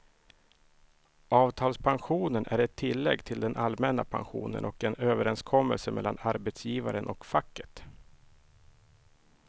Avtalspensionen är ett tillägg till den allmänna pensionen och en överenskommelse mellan arbetsgivaren och facket.